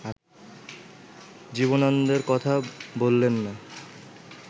জীবনানন্দের কথা বললেন না